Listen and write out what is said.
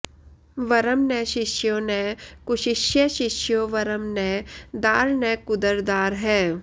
वरं न शिष्यो न कुशिष्यशिष्यो वरं न दार न कुदरदारः